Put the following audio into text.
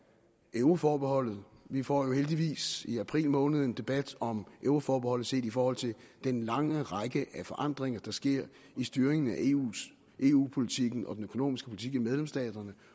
euroforbeholdet vi får jo heldigvis i april måned en debat om euroforbeholdet set i forhold til den lange række af forandringer der sker i styringen af eu politikken og den økonomiske politik i medlemsstaterne